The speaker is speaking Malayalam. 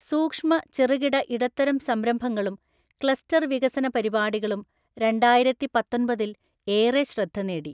സൂക്ഷ്മ ചെറുകിട ഇടത്തരം സംരംഭങ്ങളും ക്ലസ്റ്റര്‍ വികസന പരിപാടികളും രണ്ടായിരത്തിപത്തൊന്‍പതില്‍ ഏറെ ശ്രദ്ധ നേടി.